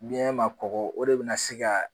Biɲɛ ma kɔgɔ o de bɛna se ka